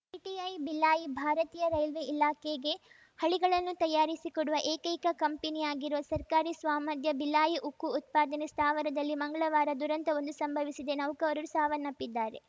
PTI Bhilai ಭಾರತೀಯ railway ಇಲಾಖೆಗೆ ಹಳಿಗಳನ್ನು ತಯಾರಿಸಿ ಕೊಡುವ ಏಕೈಕ ಕಂಪನಿಯಾಗಿರುವ ಸರ್ಕಾರಿ ಸ್ವಾಮ್ಯದ ಭಿಲಾಯಿ ಉಕ್ಕು ಉತ್ಪಾದನೆ ಸ್ಥಾವರದಲ್ಲಿ ಮಂಗ್ಳವಾರ ದುರಂತವೊಂದು ಸಂಭವಿಸಿದೆ ನೌಕರರು ಸಾವನ್ನಪ್ಪಿದ್ದಾರೆ